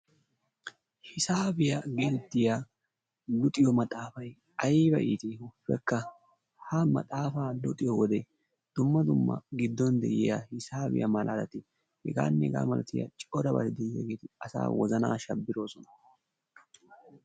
Hisaabiya getettiya luxissiyo maxaafay ayba itti ha maxaafa luxiyo wode dumma dumma giddon de'iya hisaabiyamalati hegaa malatiya corabati deiyageeti asaa wozanaa shabbiroosona.